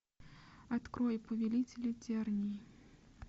открой повелители тернии